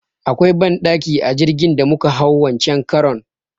Akwai banɗaki a jirgin da muka hau wancen karon.